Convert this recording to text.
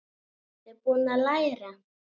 Ertu búinn að læra?